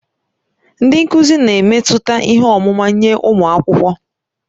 Ndị nkuzi na-emetụta ihe ọmụma nye ụmụ akwụkwọ.